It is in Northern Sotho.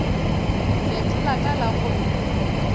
fetola ka la go re